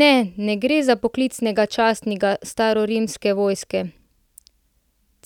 Ne, ne gre za poklicnega častnika starorimske vojske,